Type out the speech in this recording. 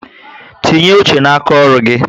Tinye uche na aka ọrụ gị